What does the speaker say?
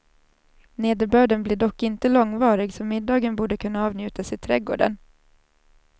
Nederbörden blir dock inte långvarig, så middagen borde kunna avnjutas i trädgården.